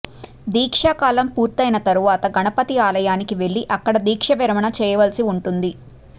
దీక్షాకాలం పూర్తయిన తరువాత గణపతి ఆలయానికి వెళ్లి అక్కడ దీక్ష విరమణ చేయవలసి వుంటుంది